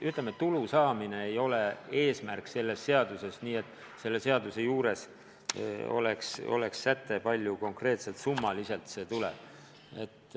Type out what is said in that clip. Ütleme, tulu saamine ei ole selle seadusmuudatuse eesmärk ja seletuskirjas pole öeldud, kui suure konkreetse summaga on arvestatud.